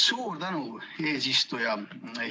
Suur tänu, eesistuja!